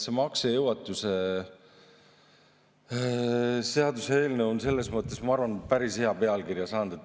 See maksejõuetuse seaduse eelnõu on selles mõttes, ma arvan, päris hea pealkirja saanud.